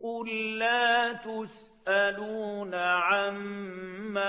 قُل لَّا تُسْأَلُونَ عَمَّا